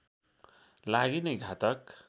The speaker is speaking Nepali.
लागि नै घातक